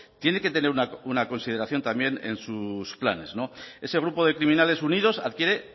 tiene que tener una consideración también en sus planes no ese grupo de criminales unidos adquiere